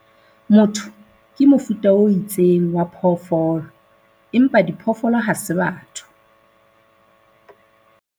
motho ke mofuta o itseng wa phoofolo empa diphoofolo ha se batho